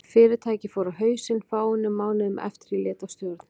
Fyrirtækið fór á hausinn fáeinum mánuðum eftir að ég lét af stjórn.